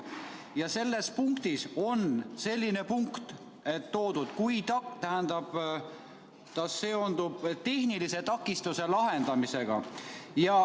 Ja selles on üks punkt, mis seondub tehnilise takistuse lahendamisega.